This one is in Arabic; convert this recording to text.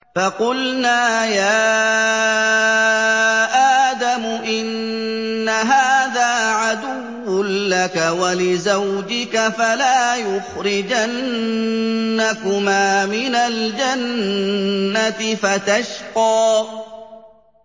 فَقُلْنَا يَا آدَمُ إِنَّ هَٰذَا عَدُوٌّ لَّكَ وَلِزَوْجِكَ فَلَا يُخْرِجَنَّكُمَا مِنَ الْجَنَّةِ فَتَشْقَىٰ